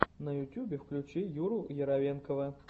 на ютубе включи юру яровенкова